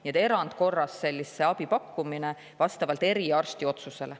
Neile pakutakse sellist erandkorras abi vastavalt eriarsti otsusele.